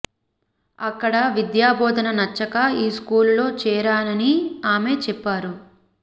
అక్కడ విద్యా బోధన నచ్చక ఈ స్కూలులో చేరానని ఆమె చెప్పారు